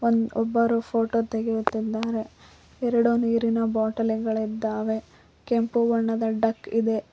ಒಬ್ಬರು ಫೋಟೋ ತೆಗೆಯುತ್ತಿದ್ದಾರೆ ಎರಡು ನೀರಿನ ಬಾಟಲಿಗಳಿದ್ದವೆ ಕೆಂಪು ಬಣ್ಣದ ಡಕ್ ಇದೆ.